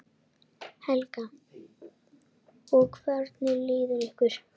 Helga: Og hvernig líður ykkur?